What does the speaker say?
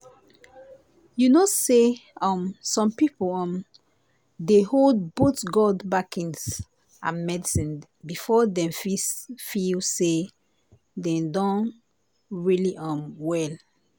you know say um some people um dey hold both god backings and medicine before dem fit feel say dem don really um well.